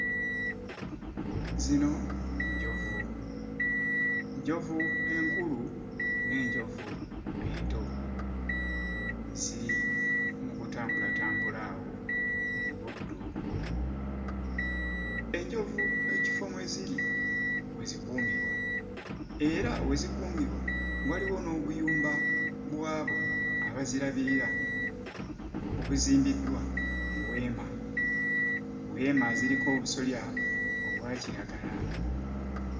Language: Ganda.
Zino njovu. Njovu enkulu n'enjovu ento ziri mu kutambulatambula awo mu buddo. Enjovu ekifo mwe ziri we zikuumirwa era we zikuumirwa waliwo n'obuyumba bw'abo abazirabirira obuzimbiddwa mu weema. Weema ziriko obusolya obwa kiragala.